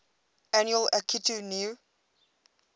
annual akitu new